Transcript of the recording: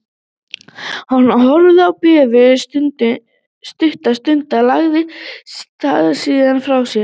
Hann horfði á bréfið stutta stund, lagði það síðan frá sér.